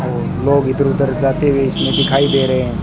अं लोग इधर उधर जाते हुए इसमें दिखाई दे रहे